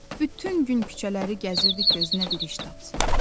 Bütün gün küçələri gəzirdi gözünə bir iş tapsın.